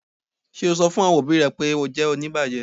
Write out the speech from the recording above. Ṣe o sọ̀ fún awọn ọbì rẹ̀ pe o jẹ́ oníbàjẹ̀?